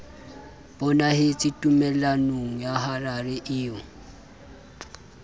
bonahetse tumellanong ya harare eo